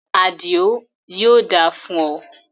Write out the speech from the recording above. Àdìó, yóò da fún o